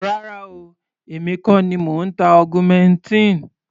Rárá o, èmi kọ́ ni mò ń ta augmentin.